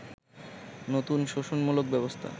নতুন শোষণমূলক ব্যবস্থা